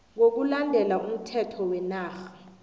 ngokulandela umthetho wenarha